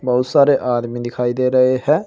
बहुत सारे आदमी दिखाई दे रहे हैं।